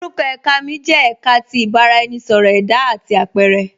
Orúkọ èká mi jẹ èká tí ìbàraẹnisọ̀rọ̀ ẹda àti apẹ̀rẹ.